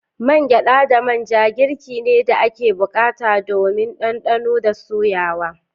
Man gyada da man ja girki ne da ake bukata domin dandano da soyawa.